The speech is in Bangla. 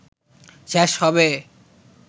শেষ হবে।